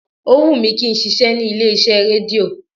Ó wù mí kí n ṣiṣẹ́ ní ilé iṣẹ́ rédíò